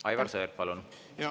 Aivar Sõerd, palun!